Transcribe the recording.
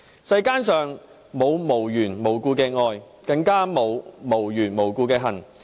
"世間上沒有無緣無故的愛，更沒有無緣無故的恨"。